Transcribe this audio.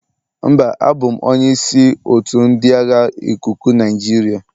Mba, abụ m onye isi otu ndị agha ikuku Nigeria.